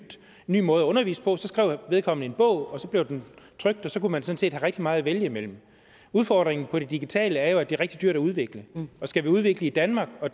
ny måde at undervise på så skrev vedkommende en bog og så blev den trykt og så kunne man sådan rigtig meget vælge imellem udfordringen med det digitale er jo at det er rigtig dyrt at udvikle skal vi udvikle i danmark og